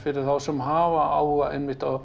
þá sem hafa áhuga á